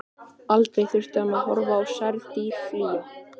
Aldrei þurfti hann að horfa á særð dýr flýja.